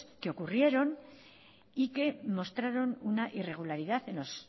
que ocurrieron y que mostraron una irregularidad